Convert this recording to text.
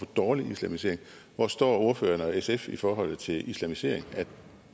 dårlig islamisering hvor står ordføreren og sf i forhold til islamisering af